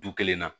Du kelen na